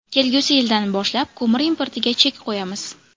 Kelgusi yildan boshlab ko‘mir importiga chek qo‘yamiz.